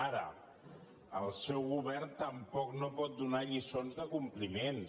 ara el seu govern tampoc no pot donar lliçons de compliments